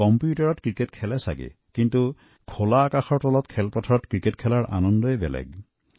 কম্পিউটাৰত হয়তু ক্ৰিকেট খেলিলেও মুকলি পথাৰত ক্ৰিকেট খেলাৰ আনন্দই সুকীয়া